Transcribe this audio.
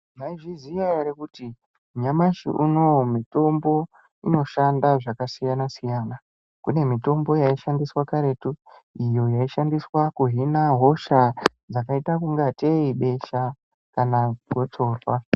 Maizviziya ere kuti nyamashi unowu mutombo unoshanda zvakasiyana siyana kune mitombo yaishandiswa kuhina hosha dzakaita kungateyi besha kana kuchovha.